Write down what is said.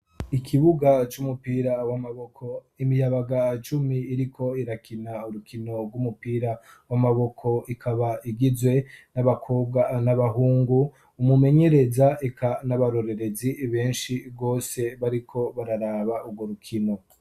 ikibuga cy'umupira w'amaboko imiyabaga cumi iriko irakina urukino rw'umupira w'amaboko ikaba igizwe n'abakobwa n'abahungu umumenyereza ik n'abarorerezi benshi bwose bariko bararaba urwo rukino